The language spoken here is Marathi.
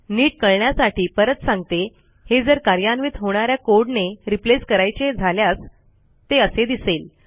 नीट कळण्यासाठी परत सांगतो हे जर कार्यान्वित होणा या कोड ने replaceकरायचे झाल्यास ते असे दिसेल